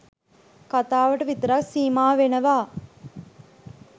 කතාවට විතරක් සීමා වෙනවා.